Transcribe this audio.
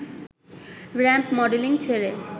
ramp modelling ছেড়ে